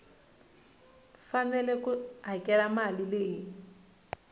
fanele ku hakela mali leyi